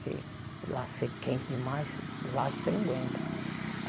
Porque lá ser quente demais, vagem você não aguenta.